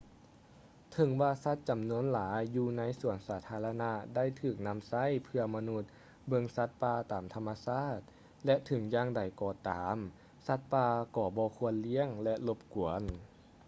ເຖິງວ່າສັດຈຳນວນຫຼາຍຢູ່ໃນສວນສາທາລະນະໄດ້ຖືກນຳໃຊ້ເພື່ອມະນຸດເບິ່ງສັດປ່າຕາມທຳມະຊາດ ແລະ ເຖິງຢ່າງໃດກໍຕາມສັດປ່າກໍບໍ່ຄວນລ້ຽງ ແລະ ລົບກວນ